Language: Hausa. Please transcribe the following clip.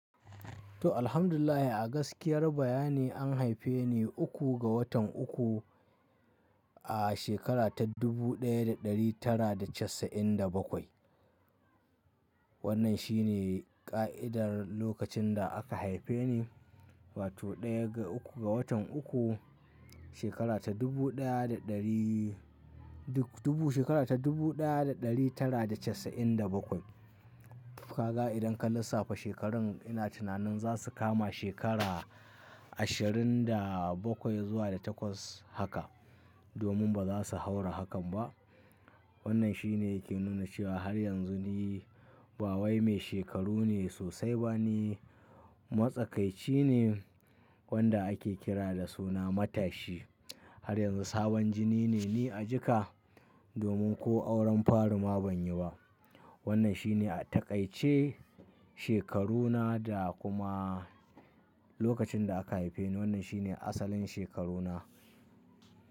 To alhamdulillah a gaskiyar bayani an haife ni uku ga watan uku a shekara ta dubu ɗaya da ɗari tara da casa'in da bakwai. Wannan shi ne ƙa'idar lokacin da aka haife ni, wato ɗaya ga uku ga watan uku shekara ta dubu ɗaya da ɗari, dubu shekara ta dubu ɗaya da ɗari tara da casa'in da bakwai. Kaga idan ka lissafa shekarun ina tunanin za su kama shekara ashirin da bakwai zuwa da takwas haka, domin ba za su haura hakan ba. Wannan shi ne yake nuna cewa har yanzu ni bawai mai shekaru mai sosai ba, ni matsakaici ne wanda ake kira da suna matashi. Har yanzu sabon jini ne ni a jika, domin ko auren faru ma ban yi ba. Wannan shi ne taƙaice shekaruna da kuma lokacin da aka haife ni. Wannan shi ne asalin shekaru na.